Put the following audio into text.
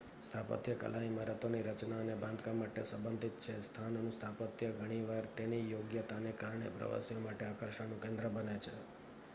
સ્થાપત્યકલા ઇમારતોની રચના અને બાંધકામ સાથે સંબંધિત છે સ્થાનનું સ્થાપત્ય ઘણીવાર તેની યોગ્યતાને કારણે પ્રવાસીઓ માટે આકર્ષણનું કેન્દ્ર બને છે